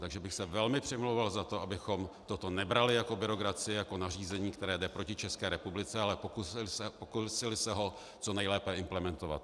Takže bych se velmi přimlouval za to, abychom toto nebrali jako byrokracii, jako nařízení, které jde proti České republice, ale pokusili se ho co nejlépe implementovat.